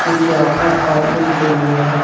कुछ यहां पर आदमी खड़े हुए हैं।